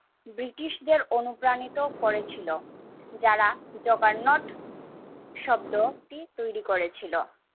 ব্রিটিশদের অনুপ্রাণিত করেছিল যারা জগন্নাথ শব্দটি তৈরি করেছিল